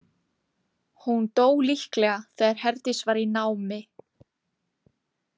Hún dó líklega þegar Herdís var í námi.